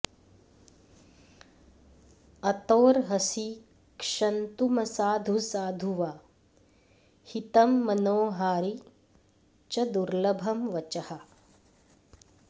अतोऽर्हसि क्षन्तुमसाधु साधु वा हितं मनोहारि च दुर्लभं वचः